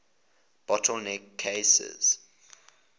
bottle neck cases